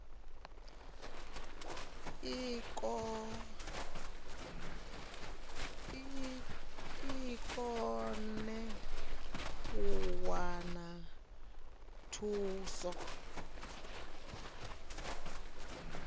i kone u wana thuso